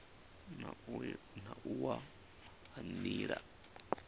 na u wa ha nila